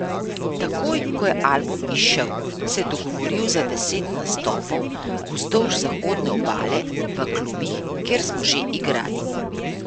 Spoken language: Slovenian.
Takoj ko je album izšel, se je dogovoril za deset nastopov vzdolž zahodne obale, v klubih, kjer smo že igrali.